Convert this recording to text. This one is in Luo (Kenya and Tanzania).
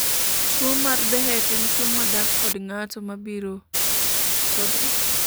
tuo mar Behcet en tuo ma dak kod ng'ato mabiro to dhi